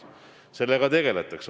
Sellega tegeldakse.